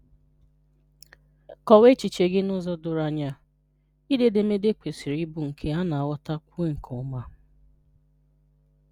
Kọwaa echiche gị n’ụzọ dọ̀rọ̀ anya. Ídé edemede kwesịrị ịbụ nke a na-aghọ̀takwuo nke ọma.